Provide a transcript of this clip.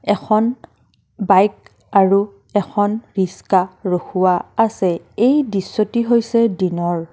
এখন বাইক আৰু এখন ৰিক্সা ৰখোৱা আছে এই দৃশ্যটি হৈছে দিনৰ।